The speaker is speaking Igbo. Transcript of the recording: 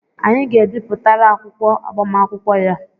Anyị ga-abipụtara akwụkwọ agbamakwụkwọ ya